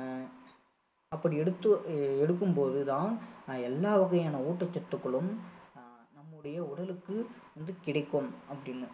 அஹ் அப்படி எடுத்து எடுக்கும் போது தான் ஆஹ் எல்லா வகையான ஊட்டச்சத்துக்களும் அஹ் நம்முடைய உடலுக்கு வந்து கிடைக்கும் அப்படின்னு